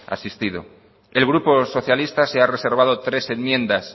asistido el grupo socialista se ha reservado tres enmiendas